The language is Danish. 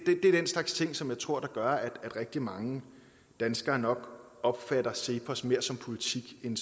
er den slags ting som jeg tror gør at rigtig mange danskere nok opfatter cepos mere som politik end